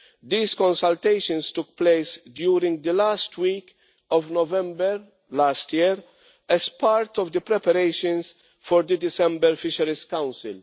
These consultations took place during the last week of November last year as part of the preparations for the December Fisheries Council.